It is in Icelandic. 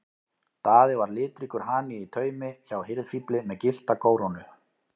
Daði var litríkur hani í taumi hjá hirðfífli með gyllta kórónu.